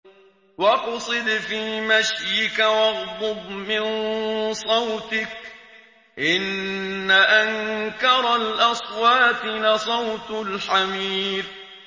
وَاقْصِدْ فِي مَشْيِكَ وَاغْضُضْ مِن صَوْتِكَ ۚ إِنَّ أَنكَرَ الْأَصْوَاتِ لَصَوْتُ الْحَمِيرِ